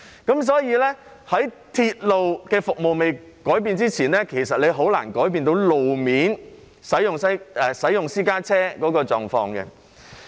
因此，在鐵路服務未改變以前，其實是很難改變私家車使用路面的狀況。